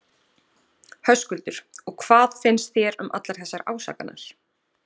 Höskuldur: Og hvað finnst þér um allar þessar ásakanir?